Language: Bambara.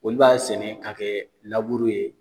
Olu b'a sɛnɛ k'a kɛ laburu ye